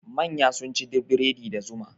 Manya sun ci bredi da zuma.